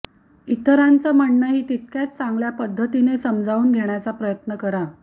इतरांचं म्हणणंही तितक्याच चांगल्या पद्धतीने समजून घेण्याचा प्रयत्न करा